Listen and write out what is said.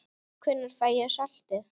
Hvenær fæ ég saltið?